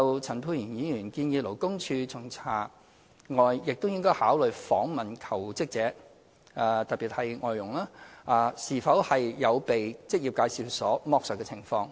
陳沛然議員建議勞工處除巡查外，亦應考慮訪問求職者，特別是外傭，是否有被職業介紹所剝削的情況。